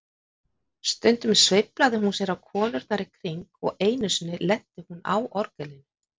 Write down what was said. Stundum sveiflaði hún sér á konurnar í kring og einu sinni lenti hún á orgelinu.